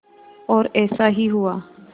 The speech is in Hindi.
और ऐसा ही हुआ